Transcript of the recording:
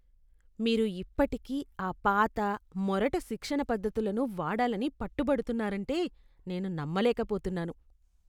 మీరు ఇప్పటికీ ఆ పాత, మొరటు శిక్షణ పద్ధతులను వాడాలని పట్టుబడుతున్నారంటే నేను నమ్మలేకపోతున్నాను!